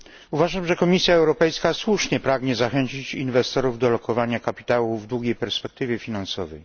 Uważam, że Komisja Europejska słusznie pragnie zachęcić inwestorów do lokowania kapitału w długiej perspektywie finansowej.